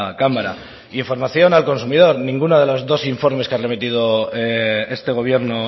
cámara información al consumidor ninguno de los dos informes que ha remitido este gobierno